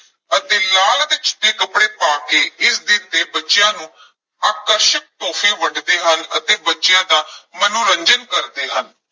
ਅਤੇ ਲਾਲ ਅਤੇ ਚਿੱਟੇ ਕੱਪੜੇ ਪਾ ਕੇ ਇਸ ਦਿਨ ਤੇ ਬੱਚਿਆਂ ਨੂੰ ਆਕਰਸ਼ਕ ਤੋਹਫ਼ੇ ਵੰਡਦੇ ਹਨ ਅਤੇ ਬੱਚਿਆਂ ਦਾ ਮਨੋਰੰਜਨ ਕਰਦੇ ਹਨ।